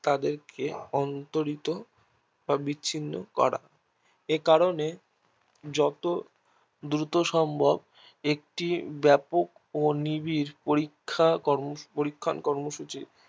কে অন্তরিত ভাবে বিচ্ছিন্ন করা একারণে যত দ্রুত সম্ভব একটি বেপক ও নিবিড় পরীক্ষা কর্ম পরীক্ষণ কর্মসূচির